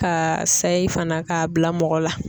Ka sayi fana k'a bila mɔgɔ la.